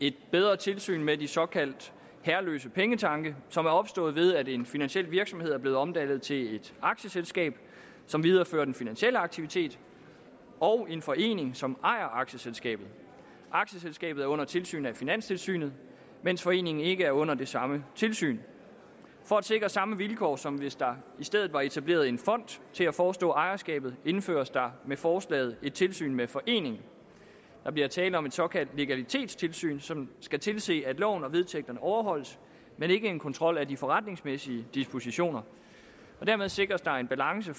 et bedre tilsyn med de såkaldt herreløse pengetanke som er opstået ved at en finansiel virksomhed er blevet omdannet til et aktieselskab som viderefører den finansielle aktivitet og en forening som ejer aktieselskabet aktieselskabet er under tilsyn af finanstilsynet mens foreningen ikke er under det samme tilsyn for at sikre samme vilkår som hvis der i stedet var etableret en fond til at forestå ejerskabet indføres der med forslaget et tilsyn med foreningen der bliver tale om et såkaldt legalitetstilsyn som skal tilse at loven og vedtægterne overholdes men ikke en kontrol af de forretningsmæssige dispositioner og dermed sikres der en balance